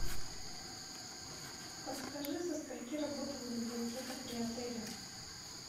подскажи со скольки работает библиотека при отеле